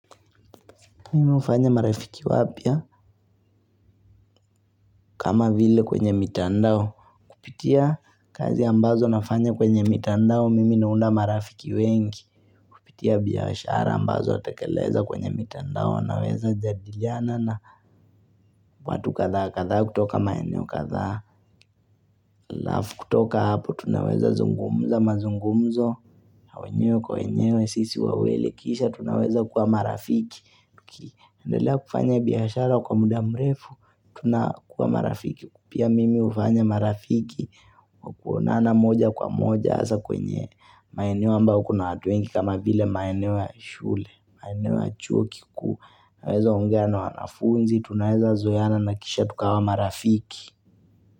Mimi hufanya marafiki wapya kama vile kwenye mitandao Kupitia kazi ambazo nafanya kwenye mitandao Mimi naunda marafiki wengi. Kupitia biashara ambazo natakeleza kwenye mitandao Naweza jadiliana na watu kadhaa kadhaa kutoka maeneo kadhaa halafu kutoka hapo tunaweza zungumza mazungumzo wenyewe kwa wenyewe sisi wawili kisha tunaweza kuwa marafiki. Tukiendelea kufanya biashara kwa muda mrefu tunakuwa marafiki. Pia mimi hufanya marafiki kwa kuonana moja kwa moja hasa kwenye maeneo ambayo kuna watu wengi kama vile maeneo ya shule maeneo ya chuo kikuu Naweza ongea na wanafunzi tunaweza zoeana na kisha tukawa marafiki.